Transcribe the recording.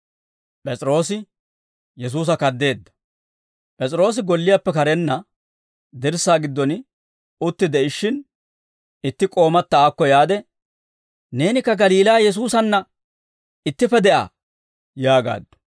P'es'iroosi golliyaappe karenna dirssaa giddon utti de'ishshin, itti k'oomata aakko yaade, «Neenikka Galiilaa Yesuusanna ittippe de'aa» yaagaaddu.